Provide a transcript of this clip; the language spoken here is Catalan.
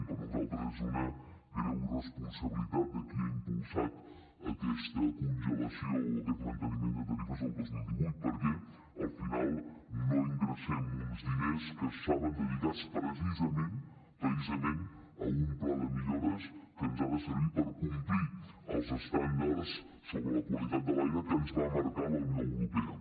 per nosaltres és una greu irresponsabilitat aquesta congelació o aquest manteniment de tarifes del dos mil divuit perquè al final no ingressem uns diners que estaven dedicats precisament a un pla de millores que ens ha de servir per complir els estàndards sobre la qualitat de l’aire que ens va marcar la unió europea